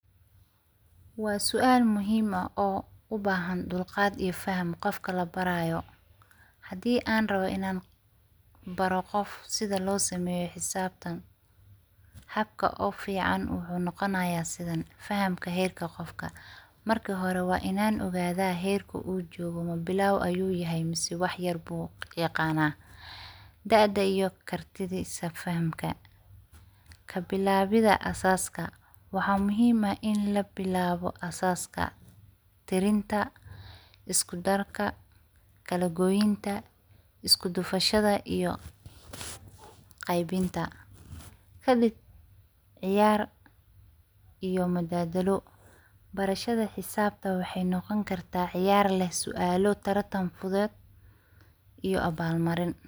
Wa sual muhim ah o ubahan duqad iyo faham qofka labarayo. Hadi an rabo inan baro qoof sidha lo sameyo xisabtan habka ugu fican wuxu noqonaya sidhan fahamka herk qofka, marki hore wa inan ogadha herka uu jogo mabilawa ayu yahay mase wax yar bu aqana, daada iyo kartidisa fahamka, kabilawida asaska wa muhima ah in labilabo asaska jarinta, iskudarka, kalagoynta iskudufushadha iyo qeybinta kadiib ciyar iyo madadaloo, barashada hisabta waxay noqoni karta ciyar leeh sualo tartan fudud iyo abal mariin.